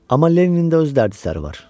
Amma Leninin də öz dərdi-səri var.